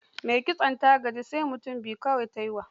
Mai kitson gajiya ta yi, sai mutum biyu kawai ta yi wa.